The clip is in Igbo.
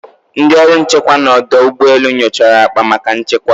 Ndị ọrụ nchekwa na odo ugbo elu nyochara akpa maka nchekwa.